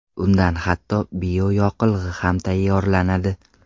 Undan hatto bioyoqilg‘i ham tayyorlanadi.